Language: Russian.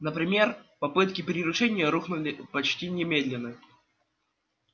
например попытки приручения рухнули почти немедленно